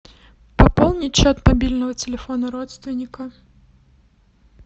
пополнить счет мобильного телефона родственника